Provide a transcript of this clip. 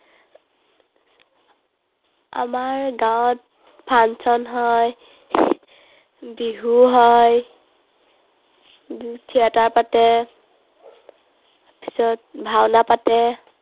আমাৰ গাঁৱত function হয়, বিহু হয়, theatre পাতে। তাৰপিছত ভাওনা পাতে।